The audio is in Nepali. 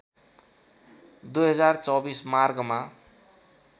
२०२४ मार्गमा